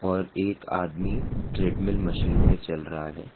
और एक आदमी ट्रेडमिल मशीन पर चल रहा है।